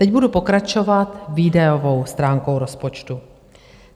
Teď budu pokračovat výdajovou stránkou rozpočtu.